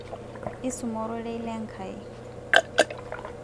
isuma orore le Enkai